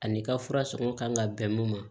Ani i ka fura sɔngɔ kan ka bɛn mun ma